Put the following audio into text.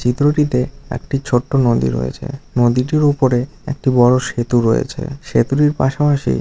চিত্রটিতে একটি ছোট্ট নদী রয়েছে নদীটির উপরে একটি বড়ো সেতু রয়েছে। সেতুটির পাশাপাশি--